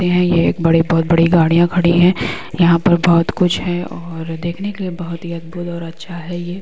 यह एक बहुत बड़ी गाडियाँ खड़ी है| यहाँ पर बहुत कुछ है और देखने के लिए बहुत अद्भुत और अच्छा है| ये--